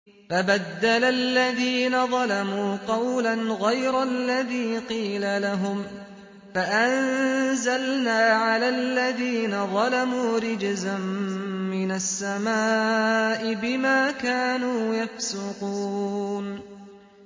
فَبَدَّلَ الَّذِينَ ظَلَمُوا قَوْلًا غَيْرَ الَّذِي قِيلَ لَهُمْ فَأَنزَلْنَا عَلَى الَّذِينَ ظَلَمُوا رِجْزًا مِّنَ السَّمَاءِ بِمَا كَانُوا يَفْسُقُونَ